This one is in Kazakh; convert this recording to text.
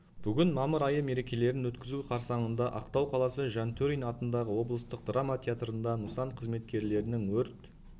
бүгін мамыр айы мерекелерін өткізу қарсаңында ақтау қаласы жантөрин атындағы облыстық драма театрында нысан қызметкерлерінің өрт